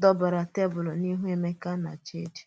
dòbèrè tèbùl n’ihu Emeka na Chidi.